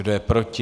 Kdo je proti?